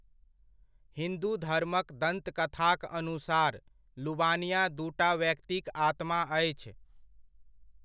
हिन्दू धर्मक दन्तकथाक अनुसार, लुवानिया दूटा व्यक्तिक आत्मा अछि।